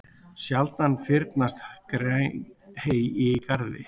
Sjaldan fyrnast græn hey í garði.